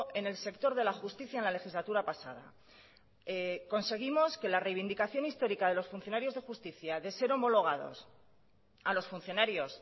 en el sector de la justicia en la legislatura pasada conseguimos que la reivindicación histórica de los funcionarios de justicia de ser homologados a los funcionarios